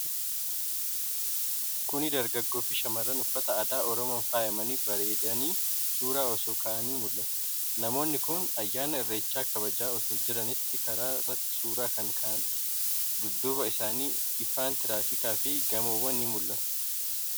Kuni dargaggoo fi shamarran uffaata aadaa Oromoon faayamanii, bareedanii suura osoo ka'anii mul'ata. Namoonni kun ayyaana Irreechaa kabajaa otoo jiraniiti karaa irratti suura kan ka'an. Dudduuba isaanii ifaan tiraafikaa fi gamoowwan ni mul'atu.